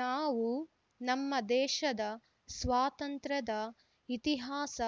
ನಾವು ನಮ್ಮ ದೇಶದ ಸ್ವಾತಂತ್ಯ್ರದ ಇತಿಹಾಸ